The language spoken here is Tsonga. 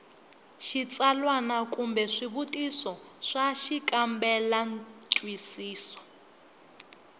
xitsalwana kumbe swivutiso swa xikambelantwisiso